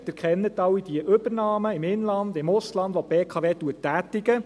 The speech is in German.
Sie kennen alle die Übernahmen im Inland und im Ausland, welche die BKW tätigt.